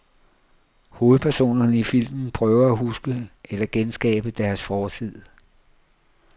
Hovedpersonerne i filmen prøver at huske eller genskabe deres fortid.